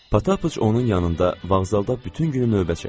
Patapıç onun yanında vağzalda bütün günü növbə çəkdi.